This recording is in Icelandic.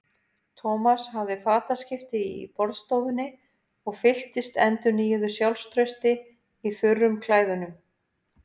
Thomas hafði fataskipti í borðstofunni og fylltist endurnýjuðu sjálfstrausti í þurrum klæðunum.